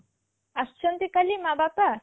ଆସୁଛନ୍ତି କାଲି ମା ବାପା?